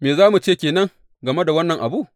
Me za mu ce ke nan game da wannan abu?